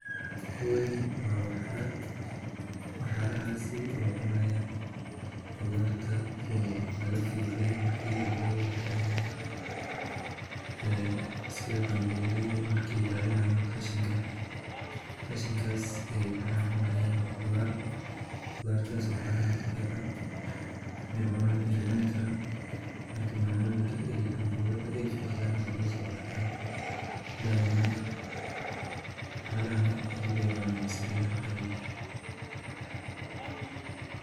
Kooni wa waxaraha, waxaraha sii waye cunaaya qudarta oo laga fiiqay markii ambogada la karinayo. Eee sida ambogelayda markii daadinaayay cashinka. Cashinkaas ay waxaraa cunayan oo qudar, qudar taasu waxaraahan u fiican ay cunaan ay cuni karaan. Marka maamoyinka ayi ambogeda ay fiicdaan ayaa laga soo qaataa. Baadana waxarahan ayoo yacunaan mise ariga.